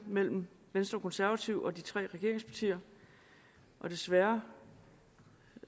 mellem venstre og konservative og de tre regeringspartier og desværre